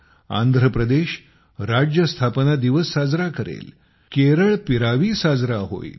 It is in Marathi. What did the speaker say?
आंध्रप्रदेश राज्य स्थापना दिवस साजरा करेल केरळ पिरावी साजरा होईल